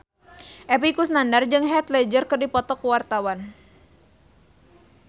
Epy Kusnandar jeung Heath Ledger keur dipoto ku wartawan